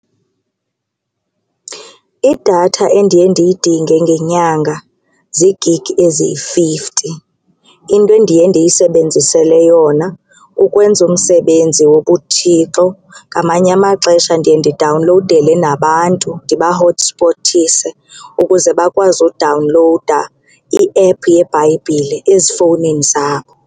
Idatha endiye ndiyidinge ngenyanga zii-gig eziyi-fifty. Into endiye ndiyisebenzisele yona kukwenza umsebenzi wobuThixo. Ngamanye amaxesha ndiye ndidawunlowudele nabantu ndibahothspothise ukuze bakwazi udawunlowuda i-app yeBhayibhile ezifowunini zabo.